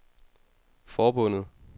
forbundet